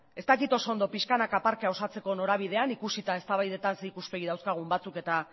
ez dakit oso ondo pixkanaka parkea osatzeko norabidean ikusita eztabaidetan ze ikuspegi dauzkagun batzuk eta